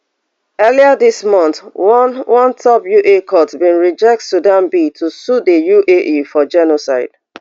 earlier dis month one one top un court bin reject sudan bid to sue di uae for genocide